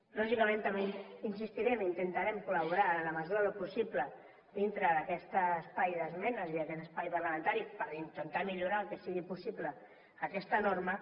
lògicament també insistirem intentarem col·laborar en la mesura del possible dintre d’aquest espai d’esmenes i d’aquest espai parlamentari per intentar millorar en el que sigui possible aquesta norma